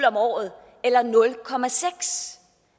om året eller nul